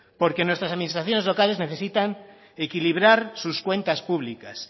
porque nuestras administraciones locales necesitan equilibrar sus cuentas públicas